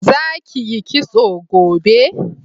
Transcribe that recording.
Za ki yi kitso gobe!